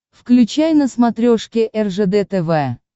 включай на смотрешке ржд тв